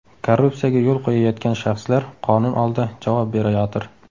Korrupsiyaga yo‘l qo‘yayotgan shaxslar qonun oldida javob berayotir”.